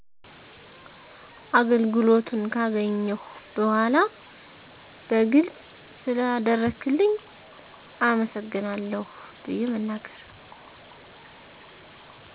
አገልግሎቱን ገካገኘሁ በዃላ በግልጽ ስለአደረክልኝ አመሰግናለሁ ብየ በመንገር